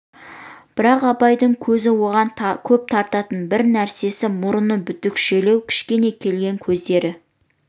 бірақ абайдың көзін оған көп тартатын бір нәрсе мұның бітікшелеу кішкене келген көздері